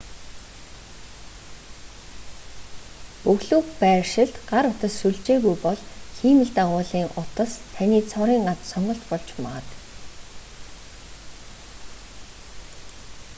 бөглүү байршилд гар утас сүлжээгүй бол хиймэл дагуулын утас таны цорын ганц сонголт болж магад